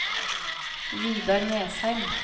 Vidar Nesheim